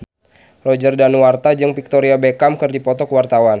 Roger Danuarta jeung Victoria Beckham keur dipoto ku wartawan